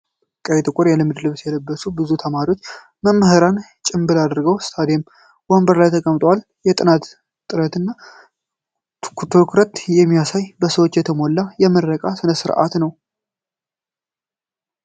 ቀይና ጥቁር የልምድ ልብስ የለበሱ ብዙ ተማሪዎችና መምህራን ጭምብል አድርገው በስታዲየም ወንበሮች ላይ ተቀምጠዋል። የጥናት ጥረትን እና ኩራትን የሚያሳይ በሰዎች የተሞላ የምረቃ ሥነ ሥርዓት ነው።